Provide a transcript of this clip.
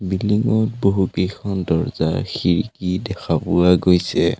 Building ত বহুকেইখন দৰ্জা খিৰিকী দেখা পোৱা গৈছে।